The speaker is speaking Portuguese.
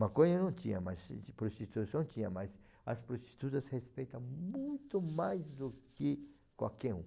Maconha não tinha, mas prostituição tinha, mas as prostitutas respeita muito mais do que qualquer um.